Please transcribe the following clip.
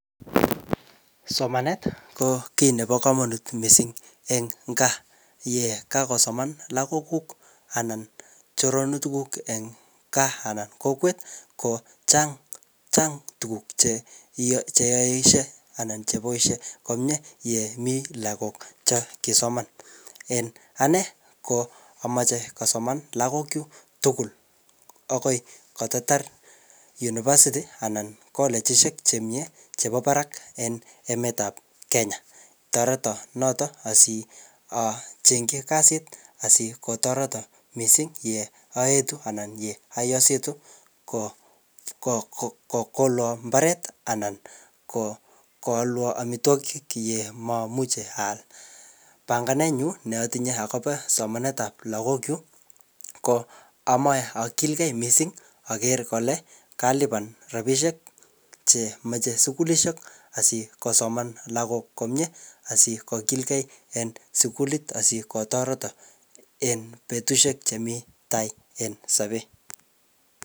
Somanet ko kiy nebo komonut missing eng gaa. Yekakosoman lagok kuk anan choronotik kuuk eng gaa anan kokwet ko chang, chang tuguk che che yoishie anan cheboisie komyee yemii lagok cha kisoman. En anee ko amache kosoman lagok chuk tugul agoi kototar university anan kolechishek che miee chebo barak en emet ap Kenya. Toreto notok asiachengchi kasit, asikotoreto missing ye aetu anan ye aositu ko-ko-kokolwo mbaret anan ko-koalwa amitwogik ye mamuchi aal. Panganet nyuu ne atinye akobo somanet ap lagok chuk ko amache akilgei missing aker kole kalipan rabisiek chemeche sukulishek asikosoman lagok komyee asikogilgei en sukulit, asikotoreto en betiusiek che mii tao en sobet.